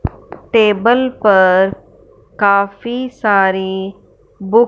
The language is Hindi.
टेबल पर काफी सारी बुक --